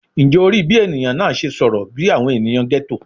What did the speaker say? Njẹ o rii bi eniyan naa ṣe sọrọ bi awọn eniyan ghetto?